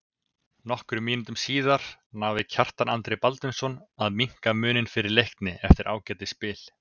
Nokkrum mínútum síðar náði Kjartan Andri Baldvinsson að minnka muninn fyrir Leikni eftir ágætis spil.